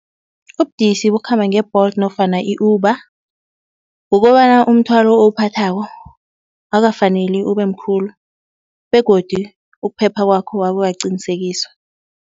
Ubudisi bokukhamba nge-Bolt nofana i-Uber, kukobana umthwalo owuphathako akukafaneli ube mkhulu begodu ukuphepha kwakho akukaqinisekiswa.